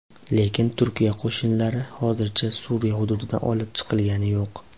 Lekin Turkiya qo‘shinlari hozircha Suriya hududidan olib chiqilgani yo‘q.